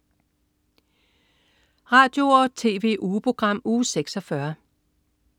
Radio- og TV-ugeprogram Uge 46